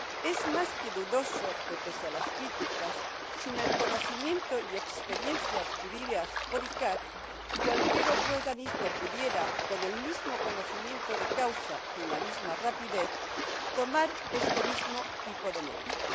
Es más que dudoso que, pese a las críticas, sin el conocimiento y la experiencia adquiridos por la CICAA, cualquier otro organismo pudiera, con el mismo conocimiento de causa y la misma rapidez, tomar este mismo tipo de medidas.